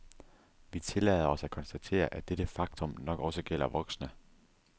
Vi tillader os at konstatere, at dette faktum nok også gælder voksne.